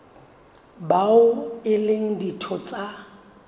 bao e leng ditho tsa